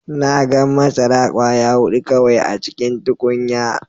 Na gan masara kwaya hudu kawai a cikin tukunya.